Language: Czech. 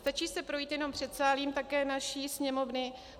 Stačí se projít jenom předsálím také naší Sněmovny.